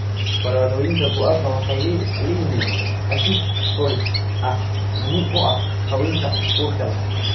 Falaadhooyinka guava waxay leeyihiin asid folik ah muhiim u ah haweenka uurka leh.